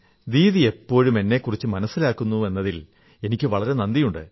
ദീദി എപ്പോഴും എന്നെക്കുറിച്ച് മനസ്സിലോർക്കുന്നുവെന്നതിൽ എനിക്ക് വളരെ നന്ദിയുണ്ട്